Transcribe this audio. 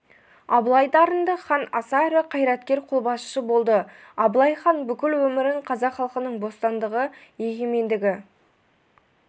абылай дарынды хан аса ірі қайраткер қолбасшы болды абылай хан бүкіл өмірін қазақ халқының бостандығы егемендігі